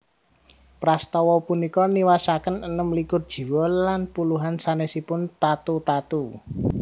Prastawa punika niwasaken enem likur jiwa lan puluhan sanèsipun tatu tatu